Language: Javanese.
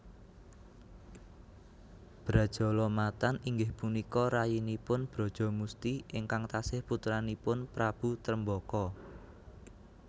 Brajalamatan inggih punika rayinipun Brajamusti ingkang tasih putranipun Prabu Tremboko